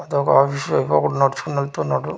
అటు ఒక ఆఫీసు ఇంకొకడు నడుచుకొని వెళ్తున్నాడు.